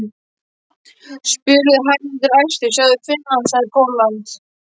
spurði Haraldur æstur, sjáðu Finnland, sjáðu Pólland.